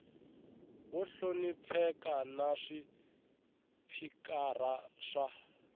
vo hlonipheka na swipikara swa